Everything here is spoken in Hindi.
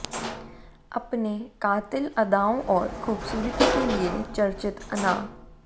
अपने कातिल अदाओं और खूबसूरती के लिए चर्चित अना